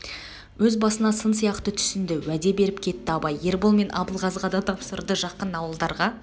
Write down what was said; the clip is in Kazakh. өз басына сын сияқты түснді уәде беріп кетті абай ербол мен абылғазыға да тапсырды жақын ауылдарға